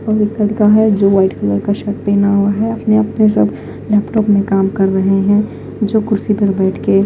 और एक लड़का है जो वाइट कलर का शर्ट पहना हुआ है अपने अपने सब लैपटॉप में काम कर रहे हैं जो कुर्सी पर बैठ के--